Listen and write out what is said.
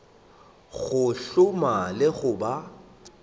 go hloma le go ba